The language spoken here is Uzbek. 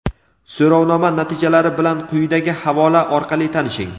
So‘rovnoma natijalari bilan quyidagi havola orqali tanishing.